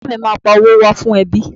Bàbá à mi ma pa owó wá fún ẹbí.